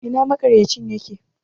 Ina maƙarya cin yake?